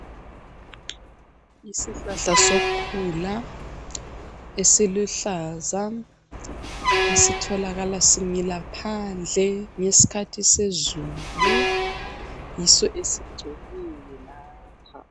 Isihlahla sokhula esiluhlaza esitholakala simila phandle ngesikhathi sezulu yiso esgcweleyo lapha.